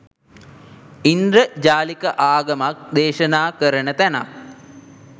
ඉන්ද්‍රජාලික ආගමක් දේශනා කරන තැනක්